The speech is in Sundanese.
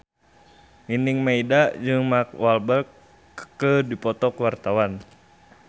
Nining Meida jeung Mark Walberg keur dipoto ku wartawan